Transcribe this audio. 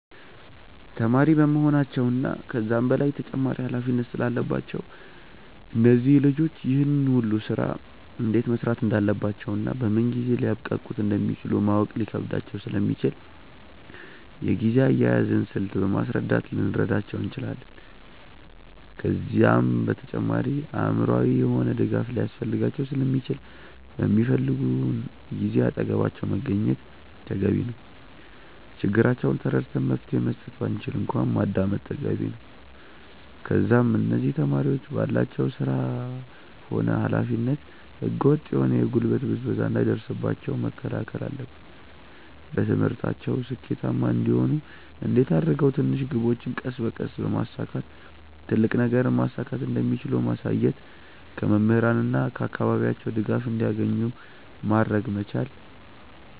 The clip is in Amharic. ተማሪ በመሆናቸው እና ከዛም በላይ ተጨማሪ ኃላፊነት ስላለባቸው እነዚህ ልጆች ይህን ሁሉ ስራ እንዴት መስራት እንዳለባቸውና በምን ጊዜ ሊያብቃቁት እንደሚችሉ ማወቅ ሊከብዳቸው ስለሚችል የጊዜ አያያዝን ስልት በማስረዳት ልንረዳቸው እንችላለን። ከዛም በተጨማሪ አእምሮአዊ የሆነ ድጋፍ ሊያስፈልጋቸው ስለሚችል በሚፈልጉን ጊዜ አጠገባቸው መገኘት ተገቢ ነው። ችግራቸውን ተረድተን መፍትሄ መስጠት ባንችል እንኳን ማዳመጥ ተገቢ ነው። ከዛም እነዚህ ተማሪዎች ባላቸው ስራ ሆነ ኃላፊነት ህገ ወጥ የሆነ የጉልበት ብዝበዛ እንዳይደርስባቸው መከላከል አለብን። በትምህርታቸው ስኬታማ እንዲሆኑ እንዴት አድርገው ትንሽ ግቦችን ቀስ በቀስ በማሳካት ትልቅ ነገርን ማሳካት እንደሚችሉ ማሳየት። ከመምህራን እና ከአካባቢያቸው ድጋፍ እንዲያገኙ ማድረግ መቻል።